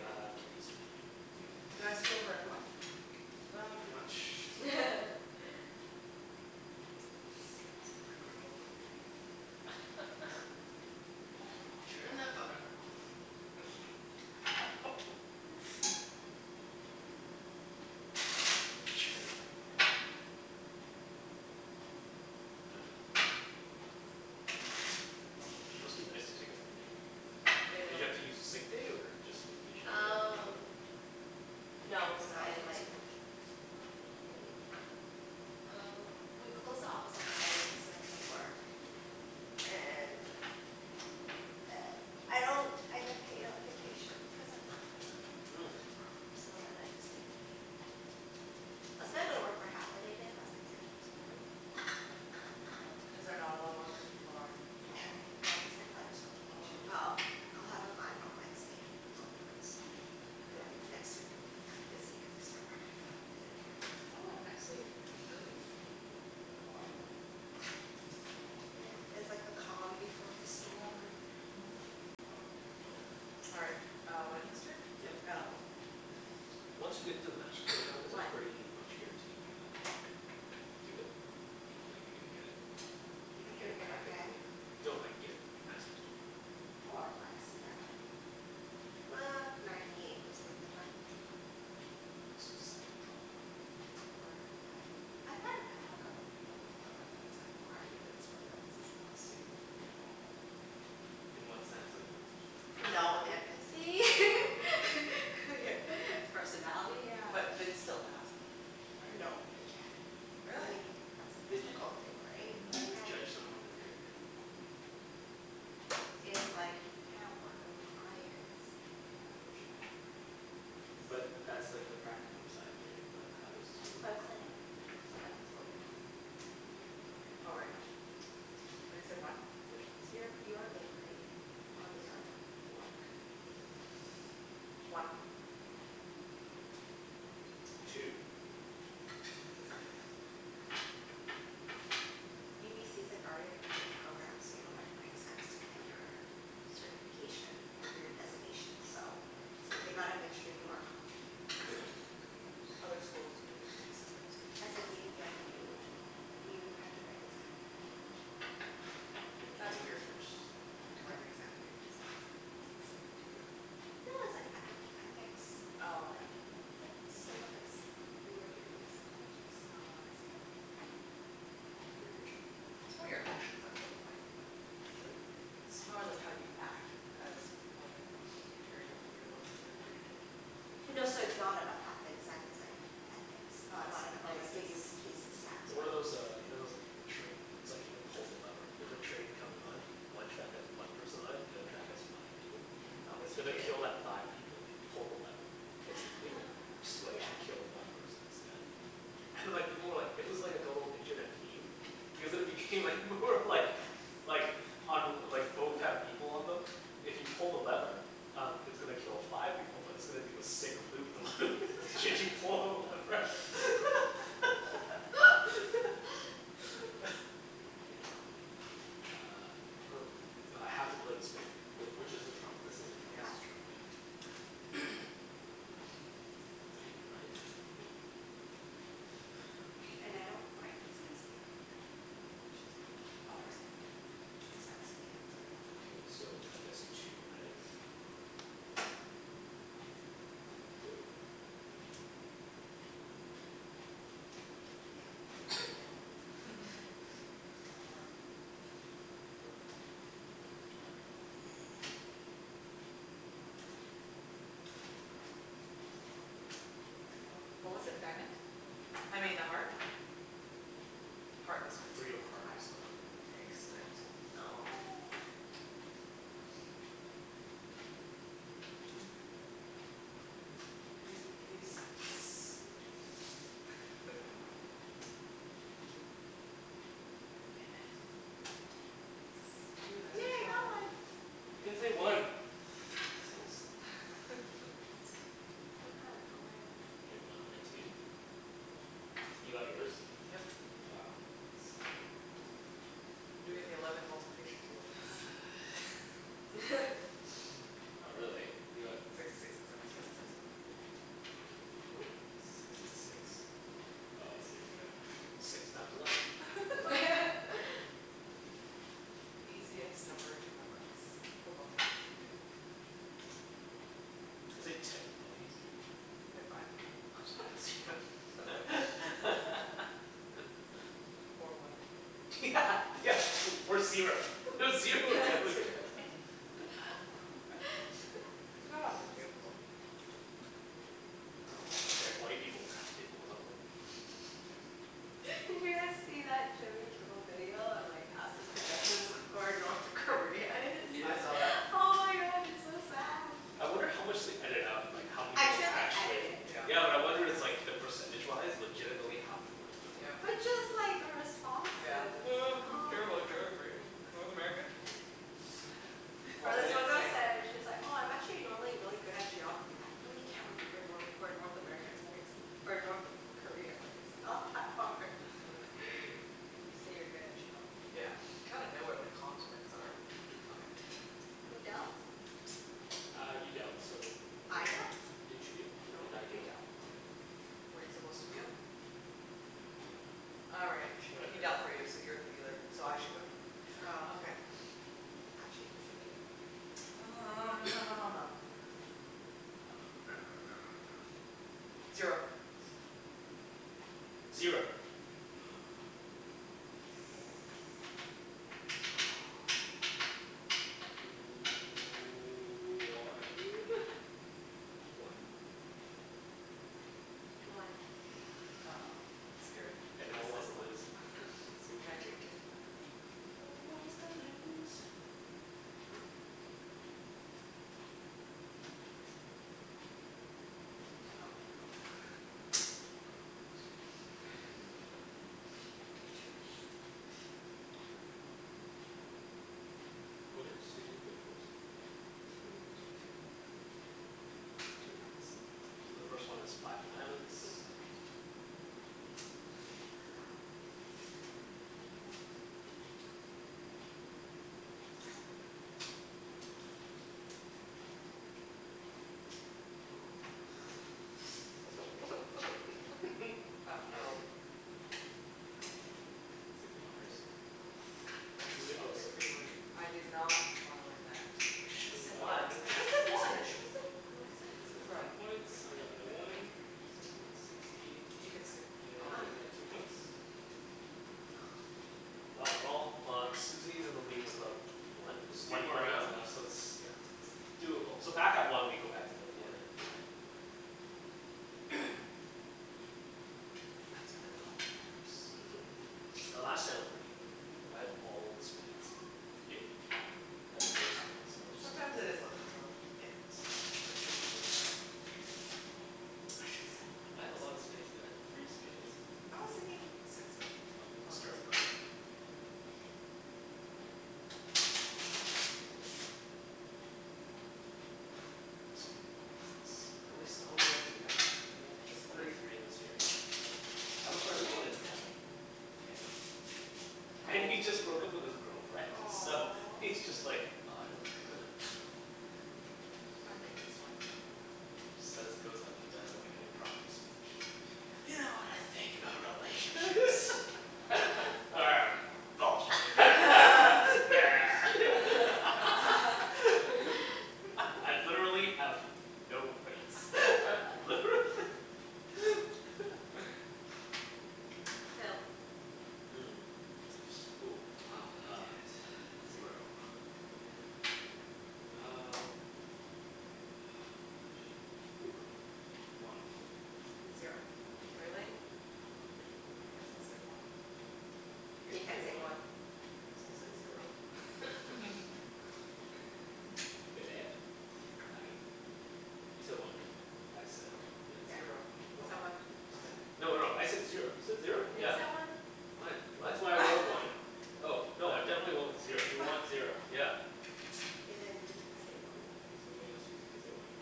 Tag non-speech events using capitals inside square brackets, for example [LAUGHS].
Uh Kenny's turn to sh- Did deal. I screw over everyone? Uh, pretty much. [LAUGHS] [LAUGHS] Churn that butter. Churn that butter. Man, it must be nice to take a four day weekend off. I Did know you have to use a sick day or just vacation day or Um, [INAUDIBLE] no cuz I like, I mean uh we close the office at seven cuz I was at work and I don't I get paid at vacation cuz I'm not full time. Mm. So then I just take a day off whatever. I was gonna go to work for half a day today but I was like nah, there's no point. Is there not a lot of work when people are on vacation? They have the psychologist on vacation. Well, I'll have a client on Wednesday onward so and then next week it would be busy cuz I start practicum and then I Oh, work. next week. Early. Mhm. Yeah, this is like the calm before the storm. Mm. All right, uh Wenny's turn? Yep. Oh. Once you get into the Master's program, is it One pretty much guaranteed you're gonna do it? Like you're gonna get it? You mean get You're a gonna get practicum? Yeah, no like, get your Masters degree. More or less, yeah. Uh, ninety eight percent of the time. Yeah, unless you decide to drop out. Or that, I find, I have a couple of people in the program where it's like, why are you in this program this is not suitable for you at all but In what sense like, is per- No personality? empathy Oh. [LAUGHS] Personality yeah. But they'd still pass them right? No, they can't. I Really? mean, it's an But you, ethical thing, right, like you you would can't. judge someone their character? Like If like, you can't work with clients then yeah, for sure But that's like the practicum side, right? But how does your For clinic. Mm. Right, fullfil your clinic before Susie, go. Oh right. practicum What is it, one? So you're, Yep. you are being graded Yeah I On your guess so work One Two Cuz like UBC's like already accredited program so you don't have to write exams to get your certification for your designation so I'd say They zero gotta make sure you are competent Other schools would need to, separate certificate? SFU you have to do, you have to write an exam pretty Mm much. K, That's lemme guess weird, first like to write an exam to be counselor, it's like doesn't seem intuitive. No, it's like ethic, ethics like, a bunch of different things. Yeah, it's same with like, if you were to become a psychologist. Oh I see Yep. Your your turn It's more your actions that qualify you but Hm? It's more like how you act as more than if you're able to read a book and regurgitate. No, so it's not about that, the exam is like Oh I ethics see, Or like, cases give you cases, yeah. So what are those uh you know those like the train? It's like you can pull the lever, there's a train coming on, one track has one person on it, the other track has five people. What It's would you gonna Mm do? kill that five people if you pull the lever. It's g- it'll switch Yeah. and kill one person instead. And like people were like it was like a total internet meme because at the beginning like, more like, like on like both have people on them, if you pull the lever, um it's gonna kill five people but it's gonna do a sick loop the loop should you pull the lever. [LAUGHS] [LAUGHS] Uh, oh. I have to play the spade. Wait, which is the trump? This is the That's the trump trump Mm, [INAUDIBLE] and I don't write exams in my program. We don't, it's just all term paper. It's like So Makes sense yeah. Ok so, I guess two, right? Woo! Thank you. Iffy Phil What was it, diamond? I mean, a heart? Heart was first. Three of heart was Heart the one. Excellent No! P- please, Yes! Damn it. You Yes, had yay a I got trump. one! I can't say one! Assholes Somehow I got my one. I won my two. You got yours? Yep. Wow, sucking. I'm doing the eleven multiplication table guys [LAUGHS] Not really. You got Sixty six and seventy seven, that's [INAUDIBLE] Oop! Sixty six? Oh I see what you mean. Six times eleven. [LAUGHS] The easiest number to memorize for multiplication table It's like ten's probably easier. Mkay fine. Just add a zero. [LAUGHS] Or one. Yeah [LAUGHS] yeah, or or zero. Zero would [LAUGHS] [LAUGHS] It's not on the table, though. Well, white people's math table probably. [LAUGHS] Did you guys see that Jimmy Kimmel video on like ask the pedestrians where or North Korea is? Yeah. I saw that Oh my god, it's so sad. I wonder how much they ediited out and like how many I'm people sure they edit it. actually Yeah, but I wonder it's like, the percentage wise legitimately how many people know where But North just Korea like the is? responses. Oh I don't Oh care my about god geography, North America? Or this one girl said she's like, "Oh I'm actually normally really good at geography but I really can't remember Nor- where North America is or it's, North Korea is." Like it's not that hard [LAUGHS] If you say you're good at geography Yeah. You gotta know where the continents are. Okay. Who dealt? [NOISE] Uh, you dealt so I dealt? w- Didn't you deal? Or did No, I you deal dealt Oh I dealt. Were you supposed to deal? No probably not. Alright He Whatever dealt for you so you're the dealer, so I should go. Oh Okay. That changes the game. Um [NOISE] Zero Zero One? One One Uh oh, I'm scared. Everyone wants to lose. Susie, you go first. C'mon, people What did Susie put first? Two Two, okay. Two hearts So the first one is five of diamonds. Mhm. [NOISE] Uh oh Susie won hers. Susie oh Susie wanted I did not wanna win that. Should've Phil said got one, I his should've said one, I should've said one, I said- Phil got his screwed ten up points, I got my one, so I'm at sixty, Wenny got two points Wow, we're all, uh Susie's in the lead with about one, There's three one more more rounds round? left so it's Yeah Doable So back at one we go back to the forehead thing, Yeah right? Okay. The last time was pretty easy for me, I had all spades. Did you? Yeah. I had four spades so I was just Sometimes it like is the luck of the draw, what you get. [INAUDIBLE] I should've said I had a lot one. of spades too. I had three spades I was thinking six Well, we of can clubs. start a garden. Man, so many weddings this, how many s- how many weddings did you have, did you guys have to Only three this year I had three. I have a friend who went to nine. Damn And he just broke up with his girlfriend so Aw he's just like, ugh, I don't want to go to them. I think it's fine if you don't go. Instead he just goes up and does like a impromptu speech. You know what I think about relationships [LAUGHS] [NOISE] Bullshit [LAUGHS] [NOISE] I, I've literally have no words, literally [LAUGHS] Phil Mm, ooh wow uh Oh, damn it Zero Oh man, um, ugh shit. One Zero Really? I guess I'll say one You You can't can't say say one. one. I guess I'll say zero [LAUGHS] Phillip? Aye You said one right, Phil? I said Yep Zero. He Oh said one one He said No, one no, I said zero. You said zero? No, you Yeah. said one. No I d- what? That's why I wrote one Oh no, I definitely went with zero. You want zero. Yeah. Okay, then you can say one. K, so now Susie can say one